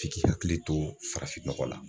F'i k'i hakili to farafinnɔgɔ la